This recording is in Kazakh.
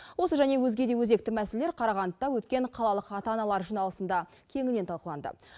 осы және өзгеде өзекті мәселелер қарағандыда өткен қалалық ата аналар жиналысында кеңінен талқыланды